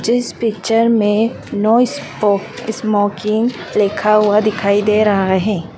जिस पिक्चर में no smoke smoking लिखा हुआ दिखाई दे रहा है।